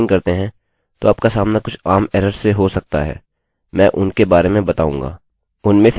जब आप phpपीएचपी में प्रोग्रामिंग करते हैं तो आपका सामना कुछ आम एरर्स से हो सकता है मैं उनके बारे में बताऊँगा